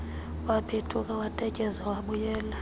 waphethuka watetyeza wabuyela